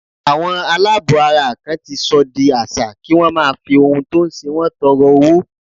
Àwọn aláàbọ̀ ara kan ti sọ di àṣà kí wón máa fi ohun tó ń ṣe wọn tọrọ owó.